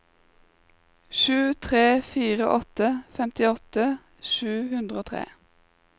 sju tre fire åtte femtiåtte sju hundre og tre